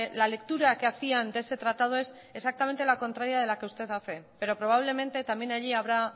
la lectura que hacían de ese tratado es exactamente la contraria de la que usted hace pero probablemente también allí habrá